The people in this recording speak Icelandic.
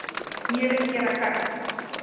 Vil gera gagn